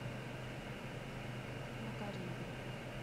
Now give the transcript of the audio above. макарьевым